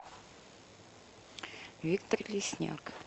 виктор лесняк